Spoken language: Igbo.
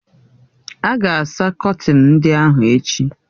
A ga-asa kọtin ndị ahụ echi